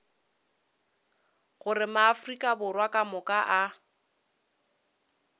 gore maafrika borwa kamoka a